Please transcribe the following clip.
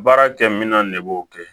Baara kɛ minɛn ne b'o kɛ